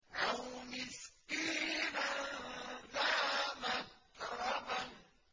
أَوْ مِسْكِينًا ذَا مَتْرَبَةٍ